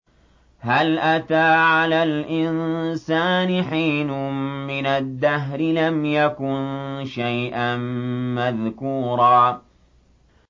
هَلْ أَتَىٰ عَلَى الْإِنسَانِ حِينٌ مِّنَ الدَّهْرِ لَمْ يَكُن شَيْئًا مَّذْكُورًا